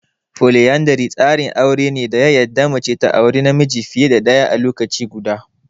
Foliyandri tsarin aure ne da ya yarda mace ta aure namiji fiye da ɗaya a lokaci guda.